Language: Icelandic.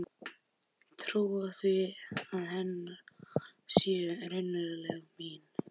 Trúa því að hennar orð séu raunverulega mín.